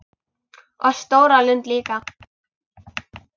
Og stóra lund líka.